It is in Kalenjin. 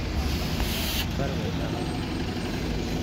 Barwetab arusit